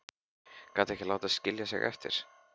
Gæti ekki látið skilja sig eftir.